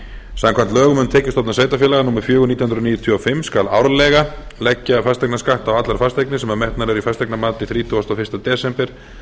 samkvæmt lögum um tekjustofna sveitarfélaga númer fjögur nítján hundruð níutíu og fimm skal árlega leggja fasteignaskatt á allar fasteignir sem metnar eru í fasteignamati þrítugasta og fyrsta desember